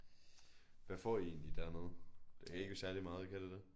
Hvad får I egentlig dernede? Det kan ikke være særlig meget kan det det?